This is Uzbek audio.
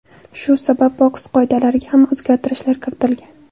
Shu sabab boks qoidalariga ham o‘zgartirishlar kiritilgan.